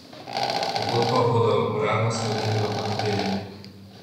Pogodbo bodo uradno sklenili v ponedeljek.